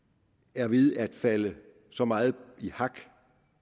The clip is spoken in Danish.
er ved at falde så meget i hak